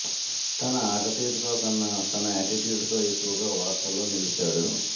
తన ఆటతీరుతో కన్నా తన ఆటిట్యూడ్ తో ఎక్కువగా వార్తల్లో నిలిచాడు